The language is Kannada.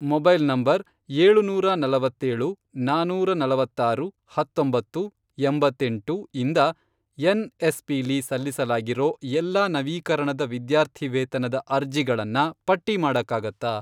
ಮೊಬೈಲ್ ನಂಬರ್, ಏಳುನೂರ ನಲವತ್ತೇಳು, ನಾನೂರ ನಲವತ್ತಾರು, ಹತ್ತೊಂಬತ್ತು, ಎಂಬತ್ತೆಂಟು, ಇಂದ ಎನ್ಎಸ್ಪಿಲಿ ಸಲ್ಲಿಸಲಾಗಿರೋ ಎಲ್ಲಾ ನವೀಕರಣದ ವಿದ್ಯಾರ್ಥಿವೇತನದ ಅರ್ಜಿಗಳನ್ನ ಪಟ್ಟಿ ಮಾಡಕ್ಕಾಗತ್ತಾ?